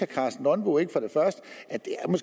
karsten nonbo ikke at